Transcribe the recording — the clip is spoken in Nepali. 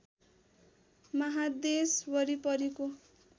महादेश वरिपरिको